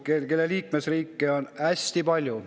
Liikmesriike on hästi palju.